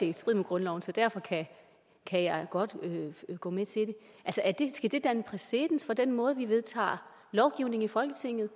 i strid med grundloven så derfor kan jeg godt gå med til det skal det danne præcedens for den måde vi vedtager lovgivning i folketinget